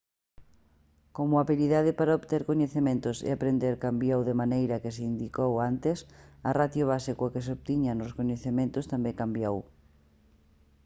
como a habilidade para obter coñecementos e aprender cambiou da maneira que se indicou antes a ratio base coa que se obtiñan os coñecementos tamén cambiou